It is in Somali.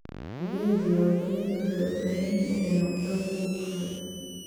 Adeegyada diiwaangelinta waxay u baahan yihiin inay noqdaan kuwo hufan.